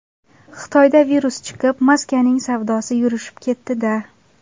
Xitoyda virus chiqib, maskaning savdosi yurishib ketdi-da.